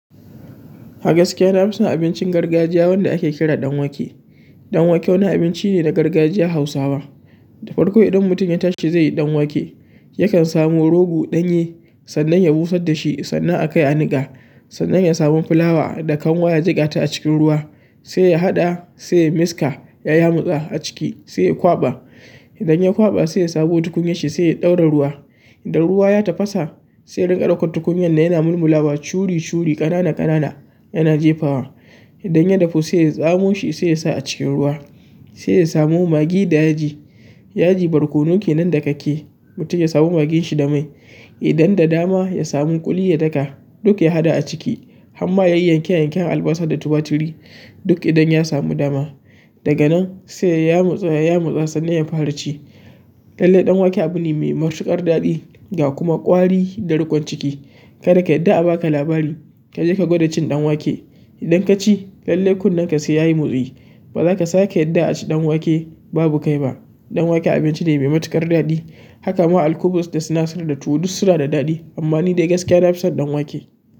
A gaskiya ina son abincin gargajiya wanda ake kira ɗan wake. Ɗan wake wani abinci ne na gargajiyan Hausawa. Da farko idan mutum ya tashi zaiyi dan wake yakan rogo danye sannan ya busar dashi sannan a kai a nika sannan ya samu fulawa da kanwa ya jikkata a cikin ruwa, sai ya haɗa sai miska ya yamutsa a ciki sai ya kwaɓa. Idan ya kwaɓa sai ya samo tukunyar shi sai ya ɗaura ruwa. Idan ruwa ya tafasa sai ya riƙa ɗaukan tukunyar yana mulmula wa curi curi, ƙanana ƙanana yana jefawa. Idan ya dafu sai ya tsamu shi sai yasa a cikin ruwa. Sai ya samu magi da yaji, yaji barkono kenan dakakke. Mutum ya samu magin shi da mai. Idan da dama ya samu kuli ya daka duk ya haɗa a ciki. Amma yayi yanke yanken albasa da tumaturi duk idan ya samu dama. Daga nan sai ya yamutsa ya yamutsa sannan ya fara ci lalle dan wake abune mai matukar daɗi ga kuma kwari da rikon ciki. Kada ka yafda a baka labari kaje ka gwada cin ɗan wake. Idan ka ci lalle kunne ka sai yayi motsi. Ba za ka sake yarda a ci ɗan wake babu kai ba. Ɗan wake abinci ne mai matuƙar daɗi. Haka ma al-kubus da sinasir da tuwo duk suna da ɗadi amma ni dai gaskiya na fi son ɗan wake.